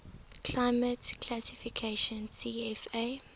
climate classification cfa